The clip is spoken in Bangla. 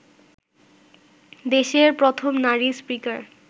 দেশের প্রথম নারী স্পিকার